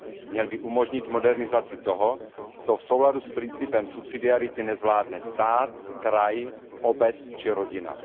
Měly by umožnit modernizaci toho, co v souladu s principem subsidiarity nezvládne stát, kraj, obec či rodina.